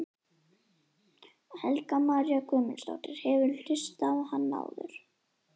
Helga María Guðmundsdóttir: Hefurðu hlustað á hann áður?